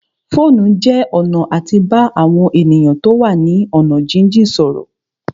Fóònù jẹ́ ọ̀nà àti bá àwọn èèyàn tó wà ní ọ̀nà jínjìn sọ̀rọ̀